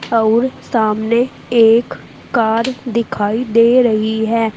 आउर सामने एक कार दिखाई दे रही है।